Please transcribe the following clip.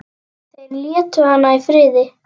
Þeir létu hana í friði.